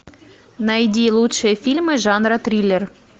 найди лучшие фильмы жанра триллер